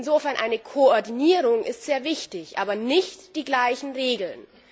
Insofern ist eine Koordinierung sehr wichtig, aber nicht die gleichen Regeln.